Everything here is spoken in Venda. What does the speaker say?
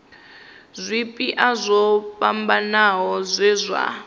zwipia zwo fhambanaho zwe zwa